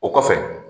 O kɔfɛ